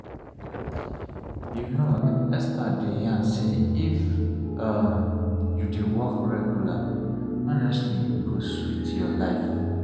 you know experts dey yarn say if um you dey walk regular honestly e go sweet your life.